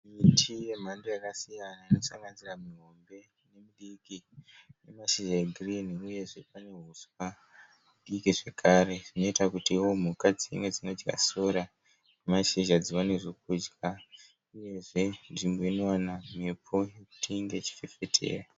Miti yemhando yakasiyana inosanganisira mihombe nemidiki ine mashizha egirinhi uyezve pane huswa hudiki zvakare hunoita kutiwo mhuka dzive dzinodya sora nemashizha dziwane zvokudya uyezve nzvimbo inowana mhepo kuti inge ichifefetera.